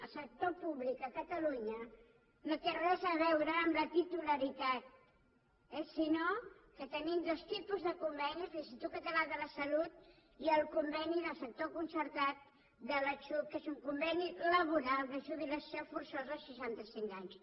el sector públic a catalunya no té res a veure amb la titularitat sinó que tenim dos tipus de convenis l’institut català de la salut i el conveni del sector concertat de la xhup que és un conveni laboral de jubilació forçosa als seixanta cinc anys